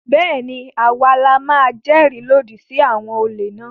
Bẹ́ẹ̀ ni, à wa la máa jẹ́rìí lòdì sí àwọn olè náà.